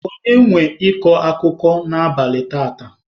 Onye nwe ịkọ akụkọ n'abalị taata?